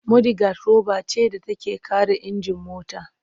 Mudigad roba ce da take kare injin mota.